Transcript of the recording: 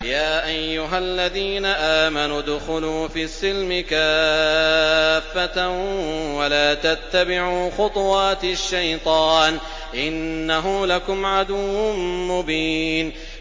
يَا أَيُّهَا الَّذِينَ آمَنُوا ادْخُلُوا فِي السِّلْمِ كَافَّةً وَلَا تَتَّبِعُوا خُطُوَاتِ الشَّيْطَانِ ۚ إِنَّهُ لَكُمْ عَدُوٌّ مُّبِينٌ